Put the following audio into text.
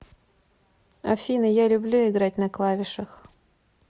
афина я люблю играть на клавишах